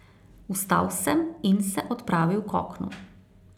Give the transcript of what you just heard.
Vstal sem in se odpravil k oknu.